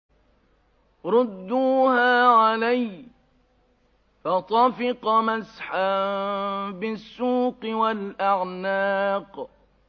رُدُّوهَا عَلَيَّ ۖ فَطَفِقَ مَسْحًا بِالسُّوقِ وَالْأَعْنَاقِ